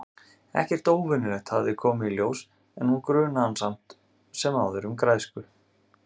Ekkert óvenjulegt hafði komið í ljós- en hún grunaði hann samt sem áður um græsku.